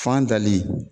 Fan dali